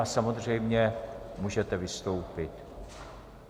A samozřejmě můžete vystoupit.